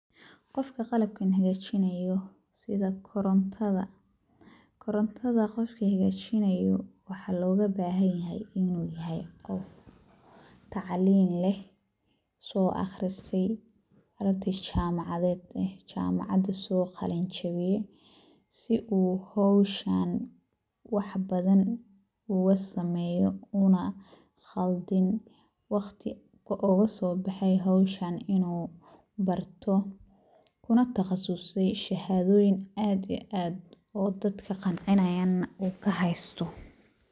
Qofka qalabkan hegaajinayo sida korontada, korontada qofka hegaajinayo waxaa looga bahanyahay inuu yahay qof tacliin leh, soo akhristay, arday jaamacadeed eh jaamacada soo qalinjibiyay si uu howsha wax badan uga sameeyo uuna qaldin wakhti uugu soo bahay howshan inuu barto una takhasusay shahaadooyin aad ii aad oo dadka qancinayana uu ka haysto.